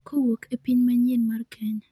kowuok e piny manyien mar Kenya